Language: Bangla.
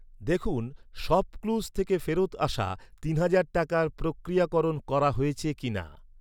দেখুন শপক্লুজ থেকে ফেরত আসা তিন হাজার টাকার প্রক্রিয়াকরণ করা হয়েছে কিনা!